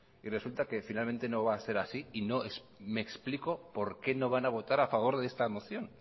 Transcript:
y resulta que finalmente no va a ser así y no me explico por qué no van a votar a favor de esta moción